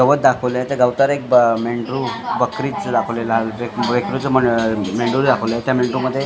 गवत दाखवले आहे त्या गवतावर एक मेंढरू बकरी चं दाखवलेला आहे मेंढू मेंढरू दाखवलं आहे त्या मेंढरू मध्ये --